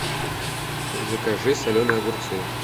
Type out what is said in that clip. закажи соленые огурцы